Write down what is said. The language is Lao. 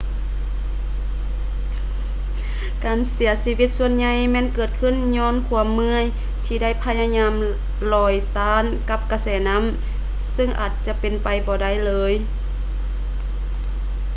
ການເສຍຊີວິດສ່ວນໃຫຍ່ແມ່ນເກີດຂື້ນຍ້ອນຄວາມເມື່ອຍທີ່ໄດ້ພະຍາຍາມລອຍຕ້ານກັບກະແສນ້ຳຊຶ່ງອາດຈະເປັນໄປບໍ່ໄດ້ເລີຍ